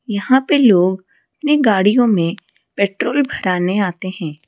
यहां पे लोग अपनी गाड़ियों में पेट्रोल भराने आते हैं।